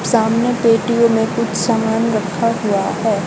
सामने पेटियों में कुछ सामान रखा हुआ है।